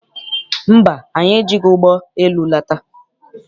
Mba, anyị ejighị ụgbọ elu lata.